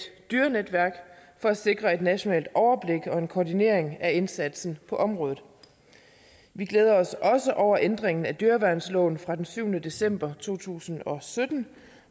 dyrenetværk for at sikre et nationalt overblik og en koordinering af indsatsen på området vi glæder os også over ændringen af dyreværnsloven fra den syvende december to tusind og sytten